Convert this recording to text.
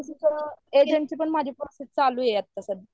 agent ची पण practice चालू होती माझी आता